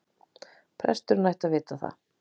Presturinn ætti að vita það.